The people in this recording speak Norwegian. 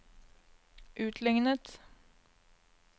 utlignet